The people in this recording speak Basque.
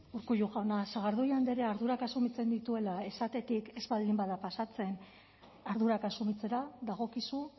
urkullu jauna sagardui andreak ardurak asumitzen dituela esatetik ez baldin bada pasatzen ardurak asumitzera dagokizu